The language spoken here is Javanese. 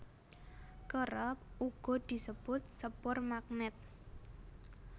Kerep uga disebut sepur magnèt